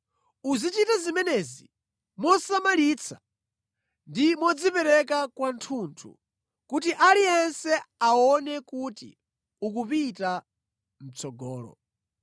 Uzichita zimenezi mosamalitsa ndi modzipereka kwathunthu, kuti aliyense aone kuti ukupita mʼtsogolo.